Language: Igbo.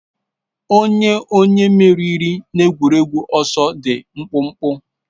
Ọ onye onye meriri n'egwuregwu ọsọ dị mkpụmkpụ